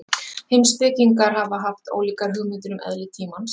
Heimspekingar hafa haft ólíkar hugmyndir um eðli tímans.